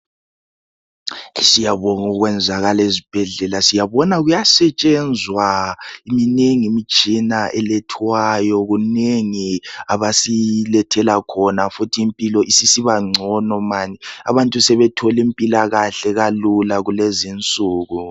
Siyabonga okwenzakala ezibhedlela, siyabona kuyasetshenzwa. Minengi imitshina elethwayo. Kunengi abasilethela khona futhi impilo isisibangcono mani. Abantu sebethola impilakahle kalula kulezi insuku.